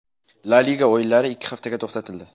La Liga o‘yinlari ikki haftaga to‘xtatildi .